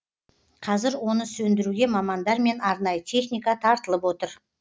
қазір оны сөндіруге мамандар мен арнайы техника тартылып отыр